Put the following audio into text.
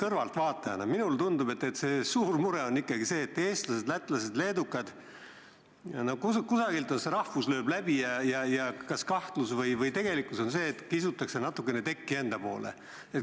Kõrvaltvaatajana tundub mulle, et suur mure on ikkagi see, et eestlastel, lätlastel ja leedukatel lööb rahvus välja, ning kahtlus või tegelikkus on see, et tekki kisutakse natukene enda poole.